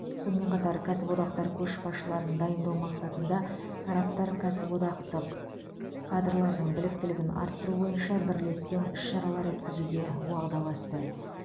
сонымен қатар кәсіподақтар көшбасшыларын дайындау мақсатында тараптар кәсіподақтық кадрлардың біліктілігін арттыру бойынша бірлескен іс шаралар өткізуге уағдаласты